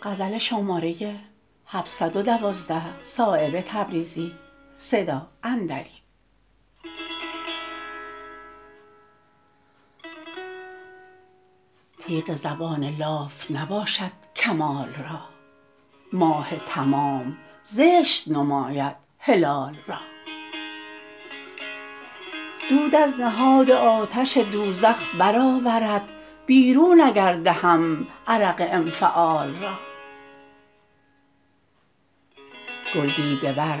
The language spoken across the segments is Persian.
تیغ زبان لاف نباشد کمال را ماه تمام زشت نماید هلال را دود از نهاد آتش دوزخ برآورد بیرون اگر دهم عرق انفعال را گل دیده ور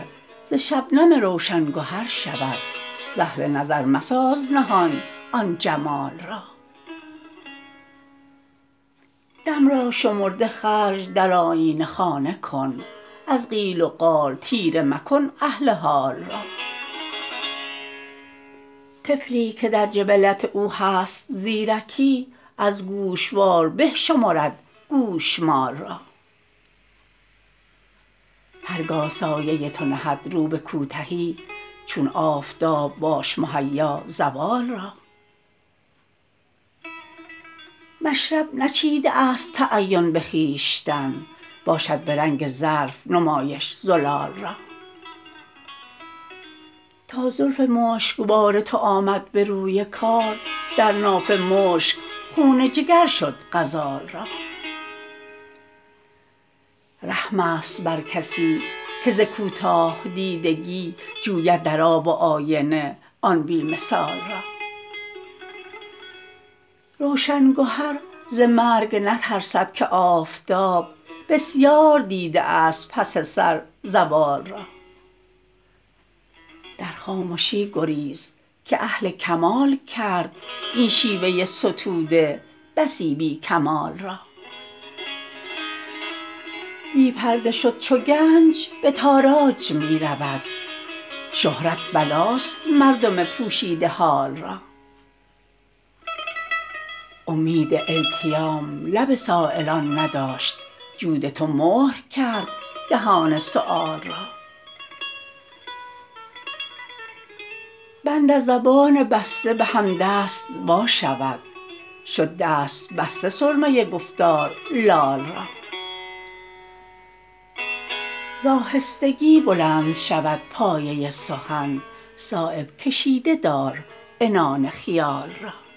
ز شبنم روشن گهر شود ز اهل نظر مساز نهان آن جمال را دم را شمرده خرج در آیینه خانه کن از قیل و قال تیره مکن اهل حال را طفلی که در جبلت او هست زیرکی از گوشوار به شمرد گوشمال را هر گاه سایه تو نهد رو به کوتهی چون آفتاب باش مهیا زوال را مشرب نچیده است تعین به خویشتن باشد به رنگ ظرف نمایش زلال را تا زلف مشکبار تو آمد به روی کار در ناف مشک خون جگر شد غزال را رحم است بر کسی که ز کوتاه دیدگی جوید در آب و آینه آن بی مثال را روشن گهر ز مرگ نترسد که آفتاب بسیار دیده است پس سر زوال را در خامشی گریز که اهل کمال کرد این شیوه ستوده بسی بی کمال را بی پرده شد چو گنج به تاراج می رود شهرت بلاست مردم پوشیده حال را امید التیام لب سایلان نداشت جود تو مهر کرد دهان سؤال را بند از زبان بسته به همدست واشود شد دست بسته سرمه گفتار لال را ز آهستگی بلند شود پایه سخن صایب کشیده دار عنان خیال را